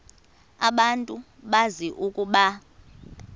abantu bazi ukuba